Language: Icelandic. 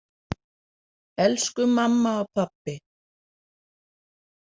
Elsku mamma og pabbi.